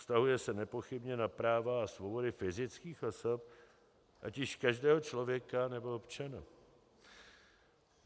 Vztahuje se nepochybně na práva a svobody fyzických osob, ať již každého člověka nebo občana.